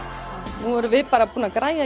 nú erum við bara búin að græja